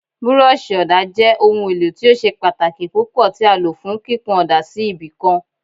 Búrọ́ọ̀ṣì ọ̀dà jẹ́ ohun èlò tí ó ṣe pàtàkì púpọ̀ tí a lò fún kíkun ọ̀dà sí ibì kan.